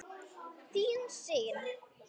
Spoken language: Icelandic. Þín Sigyn.